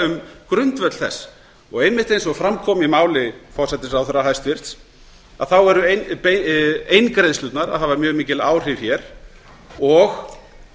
um grundvöll þess og einmitt eins og fram kom í máli hæstvirts forsætisráðherra þá eru eingreiðslurnar að hafa mjög mikil áhrif og